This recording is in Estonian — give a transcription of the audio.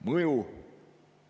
Mõju.